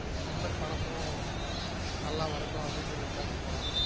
நண்பர் படமும் நல்லா வரடும் அப்டின்னு இன்னிக்கு பேச போறொம்